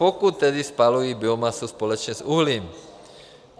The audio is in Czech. Pokud tedy spalují biomasu společně s uhlím.